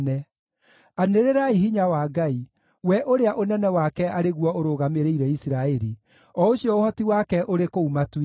Anĩrĩrai hinya wa Ngai, we ũrĩa ũnene wake arĩ guo ũrũgamĩrĩire Isiraeli, o ũcio ũhoti wake ũrĩ kũu matu-inĩ.